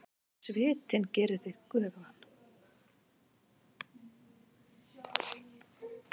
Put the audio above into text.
Svitinn gerir þig göfugan.